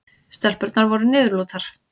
Stelpurnar voru niðurlútar.